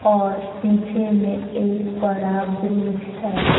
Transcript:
और पीछे में एक बड़ा ब्रिज है।